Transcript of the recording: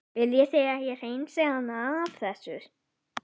Viljið þið að ég hreinsið hana af þessu?